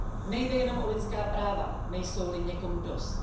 Nejde jen o lidská práva, nejsou li někomu dost.